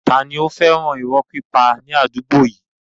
Tani ó fẹ́ràn irọ́ pípa ní àdúgbò yìí?